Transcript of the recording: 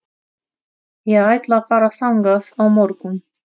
Ég ætla að fara þangað á morgun.